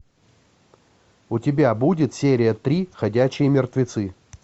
у тебя будет серия три ходячие мертвецы